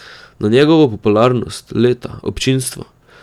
Na njegovo popularnost, leta, občinstvo.